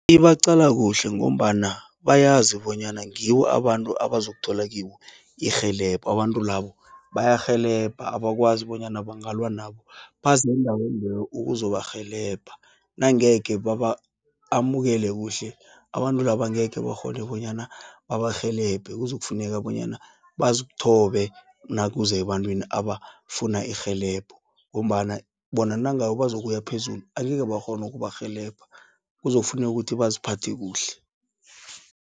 Ibaqala kuhle, ngombana bayazi bonyana ngibo abantu abazokuthola kibo irhelebho. Abantu labo, bayarhelebha abakwazi bonyana bangalwa nabo, bazi endaweni leyo ukuzobarhelebha, nangekhe baba amukele kuhle, abantu laba angekhe bakghone, bonyana babarhelebhe. Kuzokufuneka bonyana bazithobe, nakuza ebantwini abafuna irhelebho, ngombana bona nangabe bazokuya phezulu, angeke bakghonu ukubarhelebha kuzokufuneka ukuthi baziphathe kuhle.